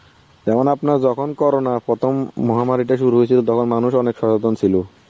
যেমন আপনারা যখন corona প্রথম মহামারীটা শুরু হয়েছিল তখন মানুষও অনেক সচেতন ছিল.